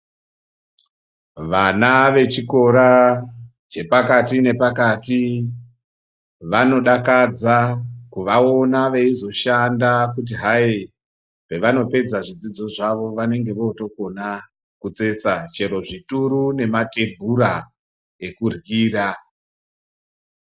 Vana vechikora chepakati nepakati vanodakadza kuvaona veizoshanda kuti hai pevanopedza zvidzidzo zvavo vanenge votokona kutsetsa chero zvituru nematebhura ekuryira.